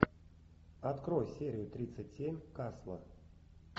открой серию тридцать семь касла